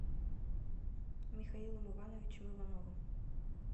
михаилом ивановичем ивановым